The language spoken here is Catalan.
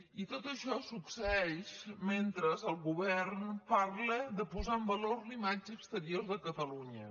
i tot això succeeix mentre el govern parla de posar en valor la imatge exterior de catalunya